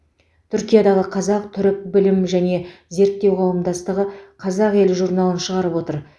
түркиядағы қазақ түрік білім және зерттеу қауымдастығы қазақ елі журналын шығарып отыр